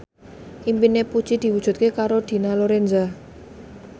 impine Puji diwujudke karo Dina Lorenza